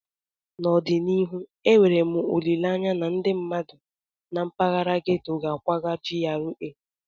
N'ọdịnihu, enwere m olileanya na ndị mmadụ na mpaghara ghetto ga-akwaga GRA